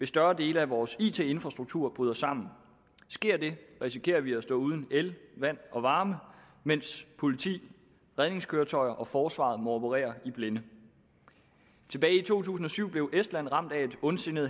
større dele af vores it infrastruktur bryder sammen sker det risikerer vi at stå uden el vand og varme mens politi redningskøretøjer og forsvaret må operere i blinde tilbage i to tusind og syv blev estland ramt af et ondsindet